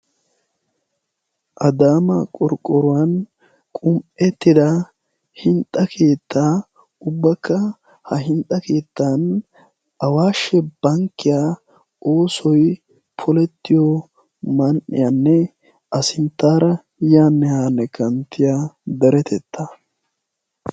Adaama qurqqoruwan qum"ettida hintsa keettaa ubbakka ha hinxxa keettan awaashshe bankkiya oosoi polettiyo man"iyaanne a sinttaara yaanne haanne kanttiya daretetta.